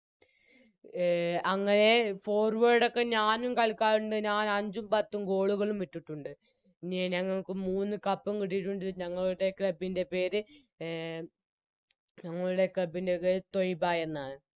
A അങ്ങനെ Forward ഒക്കെ ഞാനും കളിക്കാറുണ്ട് ഞാൻ അഞ്ചും പത്തും Goal കളും ഇട്ടിട്ടുണ്ട് പിന്നെ ഞങ്ങൾക്ക് മൂന്ന് Cup ഉം കിട്ടിയിട്ടുണ്ട് ഞങ്ങളുടെ Club ൻറെ പേര് എ ഞങ്ങളുടെ Club പേര് ത്വയ്‌ബ എന്നാണ്